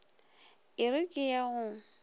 e re ke ye go